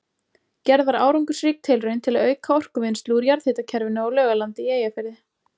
Gerð var árangursrík tilraun til að auka orkuvinnslu úr jarðhitakerfinu á Laugalandi í Eyjafirði.